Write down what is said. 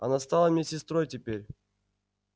она стала мне сестрой теперь